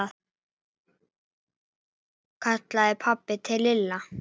kallaði pabbi til Lalla.